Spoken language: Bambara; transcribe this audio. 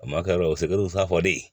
O ma kɛ o fɔ de ye